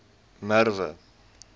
merwe